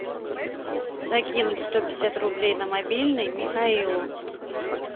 закинуть сто пятьдесят рублей на мобильный михаилу